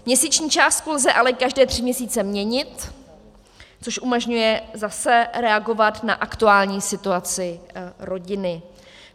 Měsíční částku lze ale každé tři měsíce měnit, což umožňuje zase reagovat na aktuální situaci rodiny.